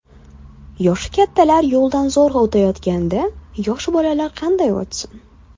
Yoshi kattalar yo‘ldan zo‘rg‘a o‘tayotganda, yosh bolalar qanday o‘tsin?!